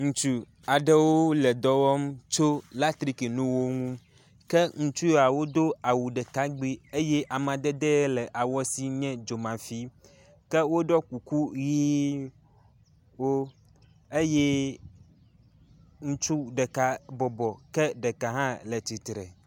Ŋutsu aɖewo le dɔ wɔm tso latrikinuwo ŋu. Ke ŋutsu yawo do awu ɖeka ŋugbi eye amadede ye le awua sie nye dzomafi. Ke woɖɔ kuku ʋiwo eye ŋutsu ɖeka bɔbɔ ke ɖeka hã le tsitre.